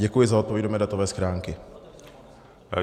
Děkuji za odpověď do mé datové schránky.